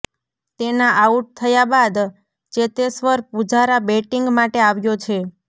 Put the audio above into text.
તેના આઉટ થયા બાદ ચેતેશ્વર પુજારા બેટિંગ માટે આવ્યો છે